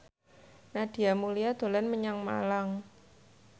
Nadia Mulya dolan menyang Malang